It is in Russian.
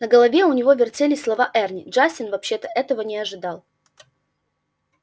в голове у него вертелись слова эрни джастин вообще-то этого не ожидал